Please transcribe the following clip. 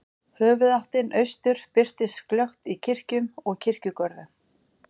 Höfuðáttin austur birtist glöggt í kirkjum og kirkjugörðum.